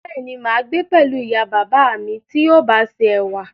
Béèni, máa gbé pẹ̀lú ìyá bàbá à mí ti yóò bá ṣe ẹ̀wà